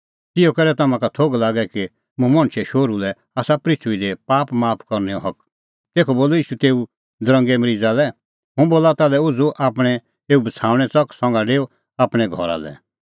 ज़िहअ करै तम्हां का थोघ लागे कि मुंह मणछे शोहरू लै आसा पृथूई दी पाप माफ करनैओ हक तेखअ बोलअ ईशू तेऊ दरंगे मरीज़ा लै हुंह बोला ताल्है उझ़ू आपणैं एऊ बछ़ाऊणैं च़क संघा डेऊ आपणैं घरा लै